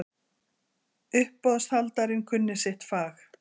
Uppboðshaldarinn kunni sitt fag.